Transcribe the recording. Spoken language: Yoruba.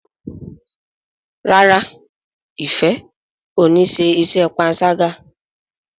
ràrá Ifẹ ọ ní ṣe iṣé panṣaga.